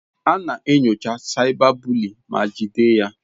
A na-enyocha cyberbully ma jide ya.